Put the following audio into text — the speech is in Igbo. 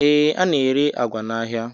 Ee, a na-ere àgwà n'ahịa